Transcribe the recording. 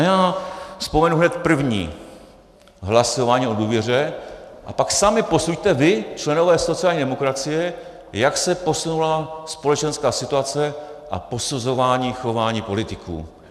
A já vzpomenu hned první hlasování o důvěře a pak sami posuďte, vy, členové sociální demokracie, jak se posunula společenská situace a posuzování chování politiků.